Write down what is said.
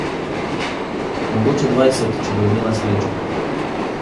Mogoče dvajset, če bo imela srečo.